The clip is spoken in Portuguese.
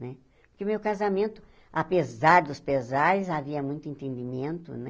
Né porque o meu casamento, apesar dos pesares, havia muito entendimento, né?